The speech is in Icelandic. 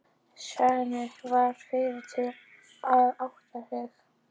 Heinz varð fyrri til að átta sig.